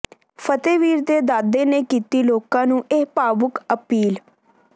ਫ਼ਤਿਹਵੀਰ ਦੇ ਦਾਦੇ ਨੇ ਕੀਤੀ ਲੋਕਾਂ ਨੂੰ ਇਹ ਭਾਵੁਕ ਅਪੀਲ